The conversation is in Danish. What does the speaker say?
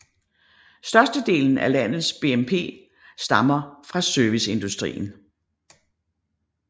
Størstedelen af landets BNP stammer fra serviceindustrien